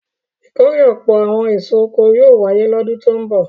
Ìkórè ọ̀pọ̀ àwọn èso oko yóò wáyé lọ́dún tó ń bọ̀.